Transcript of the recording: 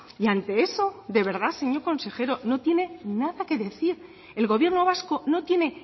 y ante eso de verdad señor consejero no tiene nada que decir el gobierno vasco no tiene